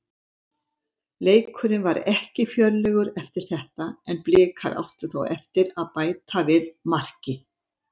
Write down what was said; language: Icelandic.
Leikurinn var ekki fjörlegur eftir þetta en Blikar áttu þó eftir að bæta við marki.